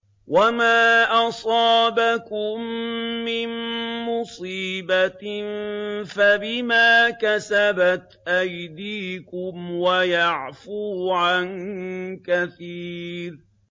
وَمَا أَصَابَكُم مِّن مُّصِيبَةٍ فَبِمَا كَسَبَتْ أَيْدِيكُمْ وَيَعْفُو عَن كَثِيرٍ